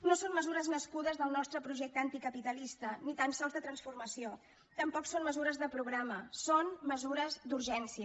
no són mesures nas cudes del nostre projecte anticapitalista ni tan sols de transformació tampoc són mesures de programa són mesures d’urgència